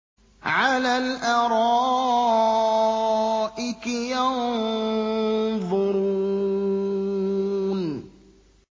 عَلَى الْأَرَائِكِ يَنظُرُونَ